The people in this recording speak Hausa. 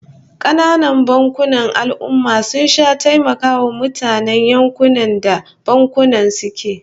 Kananan bankunan al'ummah sun sha taimakawa mutanen yankunan da bankunan suke